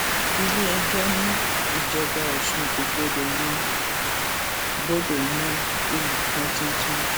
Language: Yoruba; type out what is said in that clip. iléẹjọ ní ìjọba ọsùn kò gbọdọ yan gbọdọ yan olùfọn tuntun